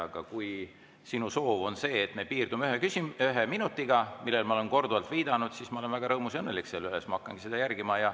Aga kui sinu soov on see, et me piirdume ühe minutiga, millele ma olen korduvalt viidanud, siis ma olen väga rõõmus ja õnnelik selle üle ja siis ma hakkangi seda järgima.